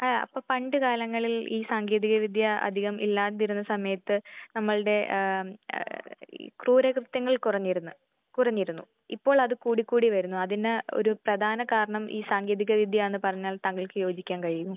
ആ അപ്പൊ പണ്ട് കാലങ്ങളിൽ ഈ സാങ്കേതിക വിദ്യ അധികം ഇല്ലാതിരുന്ന സമയത്ത് നമ്മൾടെ ഏഹ് ഈ ക്രൂര കൃത്യങ്ങൾ കുറഞ്ഞിരുന്നു. കുറഞ്ഞിരുന്നു. ഇപ്പോൾ അത് കൂടി കൂടി വരുന്നു. അതിന് ഒരു പ്രധാന കാരണം ഈ സാങ്കേതിക വിദ്യയാന്ന് പറഞ്ഞാൽ താങ്കൾക്ക് യോജിക്കാൻ കഴിയുമോ?